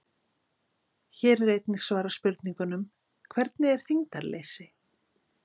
Hér er einnig svarað spurningunum: Hvernig er þyngdarleysi?